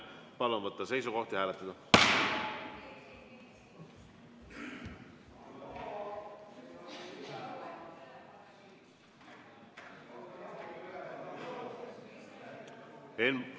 Palun võtta seisukoht ja hääletada!